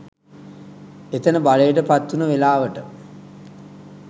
එතන බලයට පත්වුණ වෙලවට